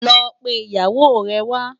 Lò pé iyáwó rè wá